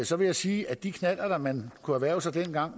så vil jeg sige at de knallerter man kunne erhverve sig dengang